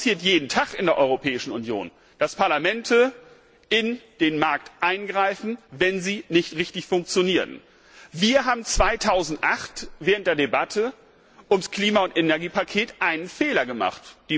Es passiert jeden Tag in der Europäischen Union, dass Parlamente in Märkte eingreifen, wenn sie nicht richtig funktionieren. Wir haben 2008 während der Debatte um das Klima und Energiepaket einen Fehler gemacht.